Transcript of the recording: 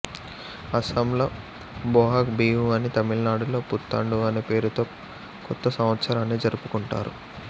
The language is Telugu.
అస్సాంలో బోహాగ్ బిహు అని తమిళనాడులో పుత్తండు అనే పేరుతో కొత్త సంవత్సరాన్నీ జరుపుకుంటారు